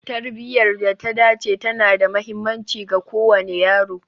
Tarbiyar da ta dace tana da mahimmanci ga kowane yaro